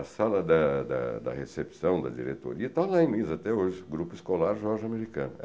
A sala da da da recepção, da diretoria, está lá em Lins até hoje, Grupo Escolar Jorge Americano.